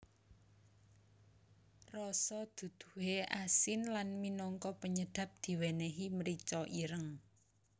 Rasa duduhe asin lan minangka penyedap diwenehi mrica ireng